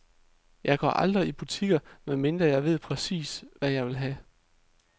Jeg går aldrig i butikker, med mindre jeg ved præcist, hvad jeg vil have.